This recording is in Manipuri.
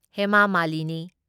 ꯍꯦꯃꯥ ꯃꯥꯂꯤꯅꯤ